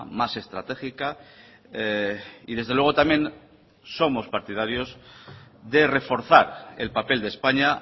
más estratégica y desde luego también somos partidarios de reforzar el papel de españa